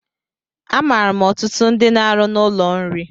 Amaara ọtụtụ ndị n'arụ n'ụlọ nri